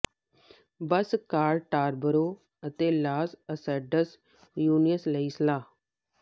ਬੱਸ car Tarboro ਅਤੇ ਲਾਸ ਐਸਟਡਜ਼ ਯੂਨਿਓਸ ਲਈ ਸਲਾਹ